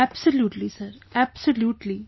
absolutely sir absolutely